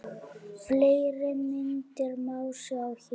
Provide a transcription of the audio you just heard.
Fleiri myndir má sjá hér